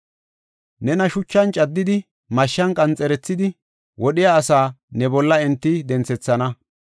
Nena shuchan caddidi, mashshan qanxerethidi wodhiya asaa ne bolla enti denthethana.